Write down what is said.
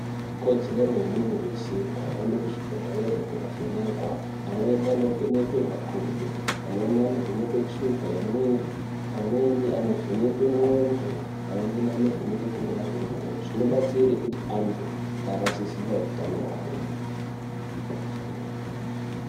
Ikodzero yemuntu weshe kuhambe kuzvibhedhelera kovhenekwa amweni anovhekwa magodo, amweni anovhekwa shuka wemwiri, amweni anovhekwa nxondo, amweni anovhekwa kurova kwemwoyo zvinobatsire kuti antu agare achiziva utano hwavo.